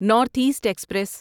north East express